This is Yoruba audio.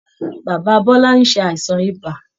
Bàbá bọ́lá ń ṣàìsàn ibà